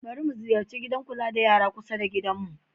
Bari mu ziyarci gidan kula da yara kusa da gidanmu.